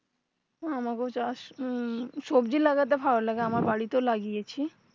আমাকেও উম সবজি লাগাতে ভালো লাগে আমার বাড়িতে ও লাগিয়েছি